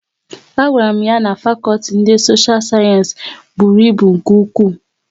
A gwara m ya na fakọlti ndị sosha sayensị bụrụ ịbụ nke ụkwụ